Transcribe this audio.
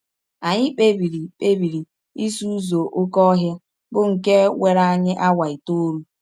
Anyị kpebiri kpebiri isi ụzọ oké ọhịa, bụ nke were anyị awa itọọlụ.